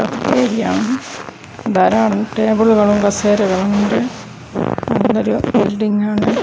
ധാരാളം ടേബിളുകളും കസേരകളും ഉണ്ട് നല്ലൊരു ബിൽഡിങ്ങാണ് .